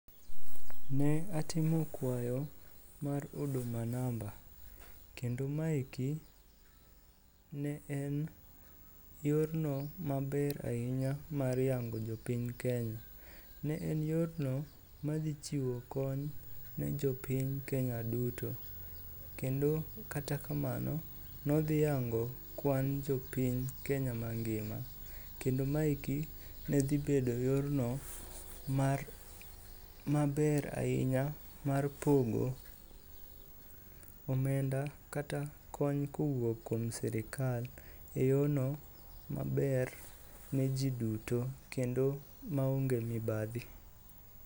Ne atimo kwayo mar huduma namba, kendo maeki ne en yorno maber ahinya mar yango jopiny Kenya. Ne en yorno madhi chiwo kony ne jopiny Kenya duto. Kendo kata kamano nodhi yango kwan jpiny Kenya mangima kendo maeki ne dhi bedo yorno maber ahinya mar pogo omenda kata kony kowuok kuom sirikal e yono maber ne ji duto kendo maonge mibadhi.